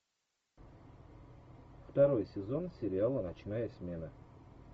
второй сезон сериала ночная смена